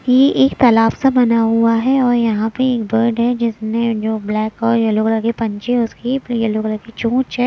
ये एक तालाब सा बना हुआ है और यहाँ पे एक बर्ड है जिसने जो ब्लैक और येल्लो कलर की पंजी है उसकी फिर येल्लो कलर की चोंच है।